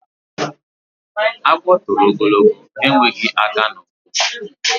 Agwo toro ogologo, ha enweghi aka na ukwu.